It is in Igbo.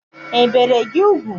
E bere gị ugwu?